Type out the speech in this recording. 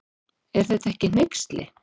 Er þetta ekki hneyksli.